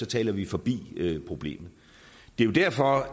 taler vi forbi problemet det er jo derfor